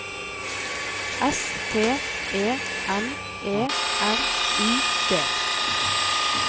S T E N E R U D